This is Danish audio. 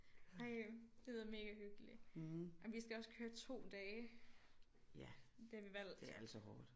Ej ja det lyder mega hyggeligt ej men vi skal også køre 2 dage det har vi valgt